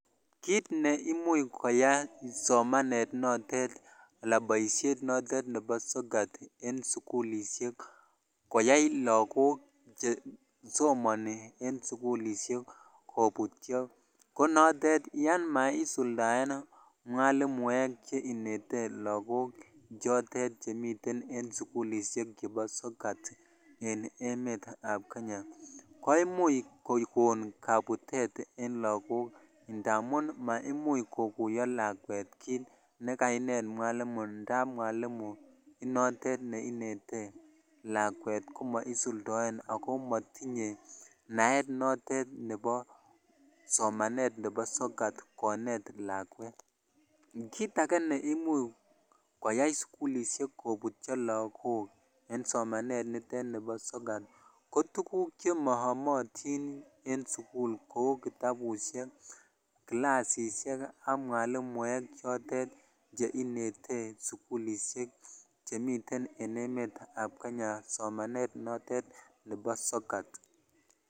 Kiit neimuch koyai somanet notet alaan boishet notet nebo sokat en sukulishek koyai lokok chesomoni en sukul kobutyo konotet yoon maisuldaen mwalimuek cheinete lokok chotet chemiten sukullishek chebo sokat en emetab kenya koimuch kokon kabutet en lokok ndamun maimuch kokuyo lakwet kiit nekainet mwalimu ndab mwalimu inotet neinete lakwet komoisuldoen ak ko motinye naet notet nebo somanet nebo sokat konet lakwet, kiit akee neimuch koyai sukulishek kobutio lokok en somanet nitet nibo sokat ko tukuk chemoyomotin en sukul kouu kitaabushek, kilasishek ak mwalimuek chotet cheinete sukulishek chemiten en emetab kenya somanet notet nebo sokat.